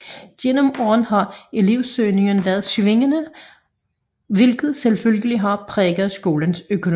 Gennem årene har elevsøgningen været svingende hvilket selvfølgelig har præget skolens økonomi